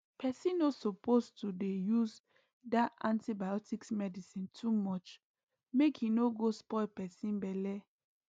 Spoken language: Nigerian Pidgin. pesin no suppose to dey use dah antibiotics medicine too much mk e nor go spoil pesin belle